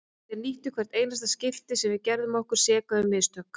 Þeir nýttu hvert einasta skipti sem að við gerðum okkur seka um mistök.